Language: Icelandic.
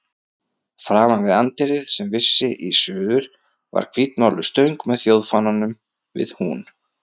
Framan við anddyrið, sem vissi í suður, var hvítmáluð stöng með þjóðfánann við hún.